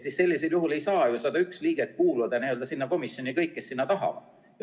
Sellisel juhul ei saa ju 101 liikmest kuuluda sinna komisjoni kõik, kes tahavad.